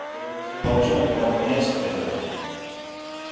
серый серый волчонок не мог понять этого